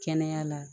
Kɛnɛya la